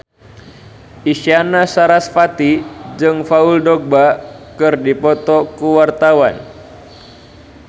Isyana Sarasvati jeung Paul Dogba keur dipoto ku wartawan